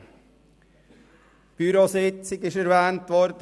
Die Bürositzung ist erwähnt worden.